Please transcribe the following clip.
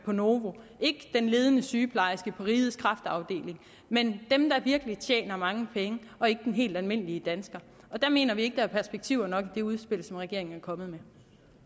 på novo ikke den ledende sygeplejerske på rigets kræftafdeling men dem der virkelig tjener mange penge og ikke den helt almindelige dansker der mener vi ikke der er perspektiver nok i det udspil som regeringen er kommet